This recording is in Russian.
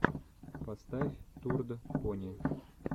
поставь турд пони